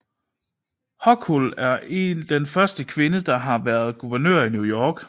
Hochul er den første kvinde der har været guvernør i New York